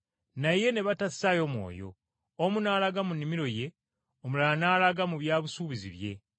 “Naye ne batassaayo mwoyo, omu n’alaga mu nnimiro ye, omulala n’alaga mu bya busuubuzi bye.